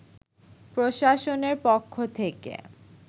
প্রশাসনের পক্ষ থেকে